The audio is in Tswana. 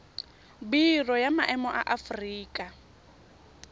biro ya maemo ya aforika